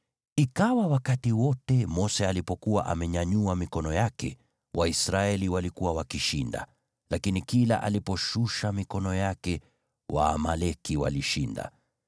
Ikawa wakati wote Mose alipokuwa amenyanyua mikono yake, Waisraeli walikuwa wakishinda, lakini kila aliposhusha mikono yake Waamaleki walishinda.